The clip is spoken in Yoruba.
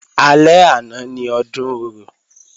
Alẹ́ àná ni Ọdún Orò